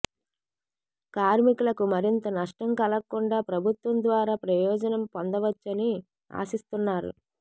కార్మికులకు మరింత నష్టం కలగకుండా ప్రభుత్వం ద్వారా ప్రయోజనం పొంద వచ్చని ఆశిస్తున్నారు